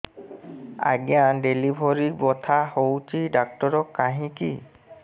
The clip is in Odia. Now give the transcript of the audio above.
ଆଜ୍ଞା ଡେଲିଭରି ବଥା ହଉଚି ଡାକ୍ତର କାହିଁ କି